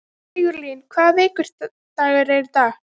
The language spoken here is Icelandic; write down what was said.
Sigurlín, hvaða vikudagur er í dag?